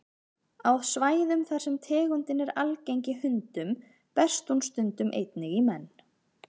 Á svæðum þar sem tegundin er algeng í hundum berst hún stundum einnig í menn.